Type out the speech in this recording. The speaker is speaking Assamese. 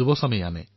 যুৱসমাজেই আনে